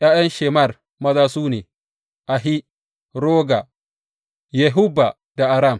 ’Ya’yan Shemer maza su ne, Ahi, Roga, Yehubba da Aram.